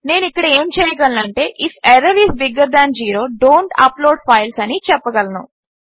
నేను ఇక్కడ ఏమి చేయగలను అంటే if error is bigger than zero don't upload files అని చెప్పగలను